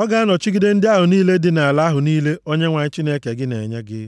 Ọ ga-anọchigide ndị ahụ niile dị nʼala ahụ niile Onyenwe anyị Chineke gị na-enye gị.